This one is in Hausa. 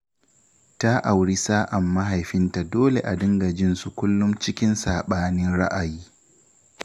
Ta auri sa'an mahaifinta dole a dinga jin su kullum cikin saɓanin ra'ayi